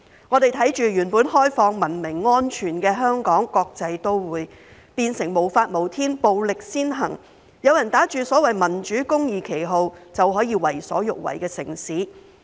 我們看着原本開放、文明、安全的香港國際都會，變成無法無天、暴力先行，有人打着所謂民主公義的旗號，便可以為所欲為的城市。